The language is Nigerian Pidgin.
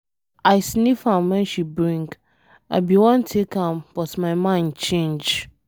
I sniff am wen she bring, I be wan take am but my mind change.